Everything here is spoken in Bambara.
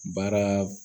Baara